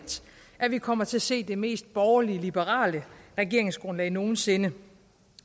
at vi kommer til at se det mest borgerlige liberale regeringsgrundlag nogen sinde